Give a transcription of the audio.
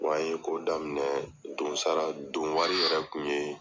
Wa an ye ko daminɛ donsara donwari yɛrɛ tun ye.